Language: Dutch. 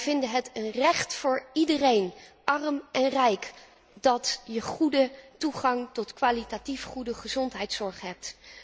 Wij vinden het een recht voor iedereen, arm en rijk, om goede toegang tot kwalitatief goede gezondheidszorg te hebben.